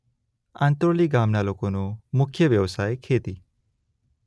આંત્રોલી ગામના લોકોનો મુખ્ય વ્યવસાય ખેતી